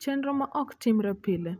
Chenro ma ok Timre Pile: